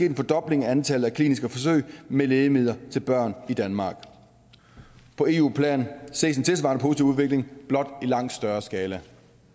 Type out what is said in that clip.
en fordobling af antallet af kliniske forsøg med lægemidler til børn i danmark på eu plan ses en tilsvarende positiv udvikling blot i langt større skala